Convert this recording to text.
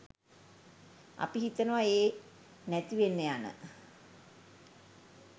අපි හිතනවා ඒ නැතිවෙන්න යන